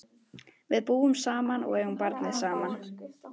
Við búum saman og eigum barnið saman.